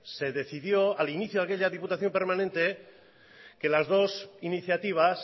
se decidió al inicio de aquella diputación permanente que las dos iniciativas